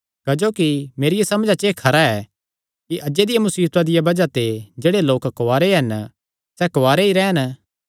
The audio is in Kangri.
क्जोकि मेरिया समझा च एह़ खरा ऐ कि अज्जे दिया मुसीबता दिया बज़ाह ते जेह्ड़े लोक कुआरे हन सैह़ कुआरे ई रैह़न